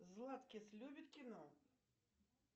златкис любит кино